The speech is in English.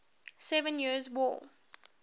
seven years war